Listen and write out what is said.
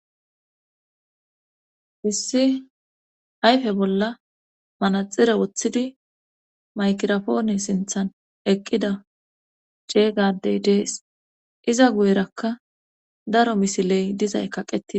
Hissi hayfe bolla manaxire woththidi maykirofoone sinthan eqqida jeegadey dees iza guyerakka daro misiley dizay kaqetidi.